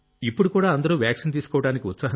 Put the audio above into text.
ఇప్పుడు కూడా అందరూ వాక్సీన్ తీసుకోవడానికి